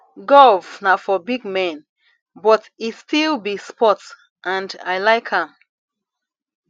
golf na for big men but e still be sport and i like am